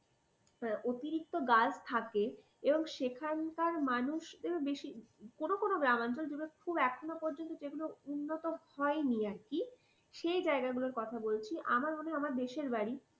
অতিরিক্ত গাছ থাকে এবং সেখানকার মানুষরাও বেশি কোন কোন গ্রাম অঞ্চল যেগুলো খুব এখনো পর্যন্ত উন্নত হয়নি আর কি সেই জায়গাগুলোর কথা বলছি আমার আমি দেশের বাড়ি